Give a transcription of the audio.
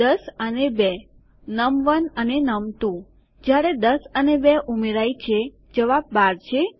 ૧૦ અને ૨ નમ1 અને નમ2 જ્યારે 10 અને 2 ઉમેરાય છે જવાબ ૧૨ છે